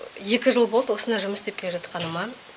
екі жыл болды осында жұмыс істеп келе жатқаныма